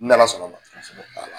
N'Ala sɔnn'a ma. Kosɛbɛ. .